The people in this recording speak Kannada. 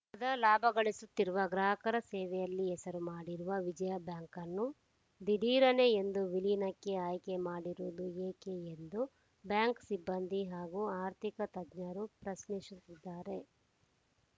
ಸದಾ ಲಾಭ ಗಳಿಸುತ್ತಿರುವ ಗ್ರಾಹಕರ ಸೇವೆಯಲ್ಲಿ ಹೆಸರು ಮಾಡಿರುವ ವಿಜಯಾ ಬ್ಯಾಂಕನ್ನು ದಿಢೀರನೆ ಎಂದು ವಿಲೀನಕ್ಕೆ ಆಯ್ಕೆ ಮಾಡಿರುವುದು ಏಕೆ ಎಂದು ಬ್ಯಾಂಕ್‌ ಸಿಬ್ಬಂದಿ ಹಾಗೂ ಆರ್ಥಿಕ ತಜ್ಞರು ಪ್ರಶ್ನಿಸುತ್ತಿದ್ದಾರೆ